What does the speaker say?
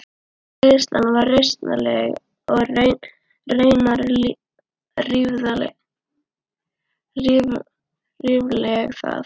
Greiðslan var rausnarleg og raunar ríflega það.